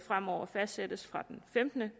fremover fastsætte fra den femtende